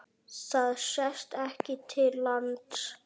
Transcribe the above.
Það sést ekki til lands.